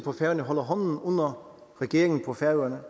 på færøerne holder hånden under regeringen på færøerne